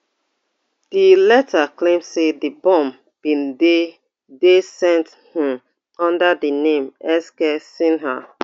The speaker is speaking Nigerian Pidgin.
di letter claim say di bomb bin dey dey sent um under di name sk sinha